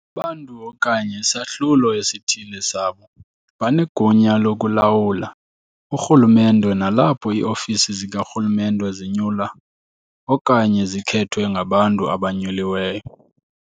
Abantu, okanye isahlulo esithile sabo, banegunya lokulawula urhulumente nalapho iiofisi zikarhulumente zinyulwa okanye zikhethwe ngabantu abanyuliweyo.